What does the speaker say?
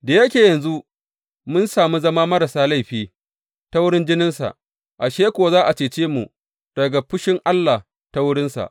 Da yake yanzu mun sami zama marasa laifi ta wurin jininsa, ashe kuwa za a cece mu daga fushin Allah ta wurinsa!